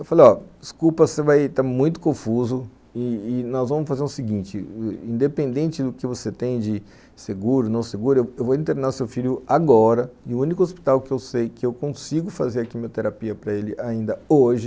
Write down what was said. Eu falei, ó, desculpa, você vai, tá muito confuso, e e nós vamos fazer o seguinte, independente do que você tem de seguro, não seguro, eu vou internar seu filho agora, no único hospital que eu sei que eu consigo fazer a quimioterapia para ele ainda hoje,